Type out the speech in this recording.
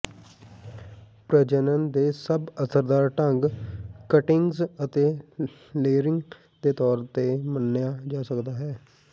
ਪ੍ਰਜਨਨ ਦੇ ਸਭ ਅਸਰਦਾਰ ਢੰਗ ਕਟਿੰਗਜ਼ ਅਤੇ ਲੇਅਿਰੰਗ ਦੇ ਤੌਰ ਤੇ ਮੰਨਿਆ ਜਾ ਸਕਦਾ ਹੈ